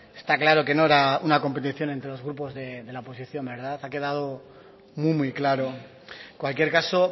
está claro que no era una competición entre los grupos de la oposición verdad ha quedado muy claro en cualquier caso